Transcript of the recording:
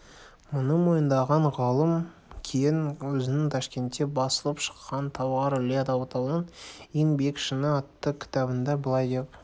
мұны мойындаған ғалым кейін өзінің ташкентте басылып шыққан талғар іле алатауының ең биік шыңы атты кітабында былай деп